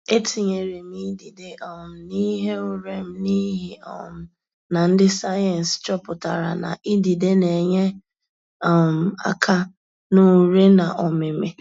Etinyere m idide um n'ihe ure m n'ihi um na ndị sayensị chọpụtara na idide na enye um aka na ure na ọmịmị